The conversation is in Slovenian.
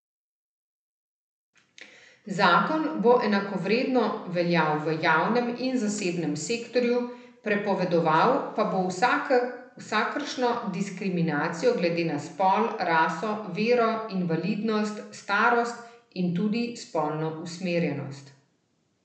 Zakon bo enakovredno veljal v javnem in zasebnem sektorju, prepovedoval pa bo vsakršno diskriminacijo glede na spol, raso, vero, invalidnost, starost in tudi spolno usmerjenost.